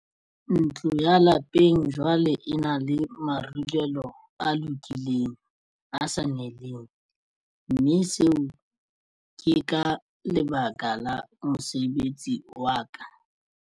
Ntlo ya lapeng jwale e na le marulelo a lokileng, a sa neleng, mme seo ke ka lebaka la mosebetsi wa ka.